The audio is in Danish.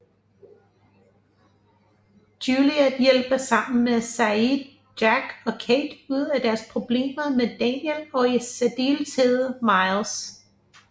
Juliet hjælper sammen med Sayid Jack og Kate ud af deres problemer med Daniel og i særdeleshed Miles